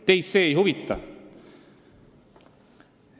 Teid see ei huvita.